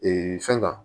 fɛn kan